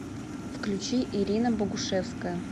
включи ирина богушевская